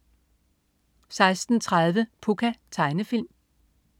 16.30 Pucca. Tegnefilm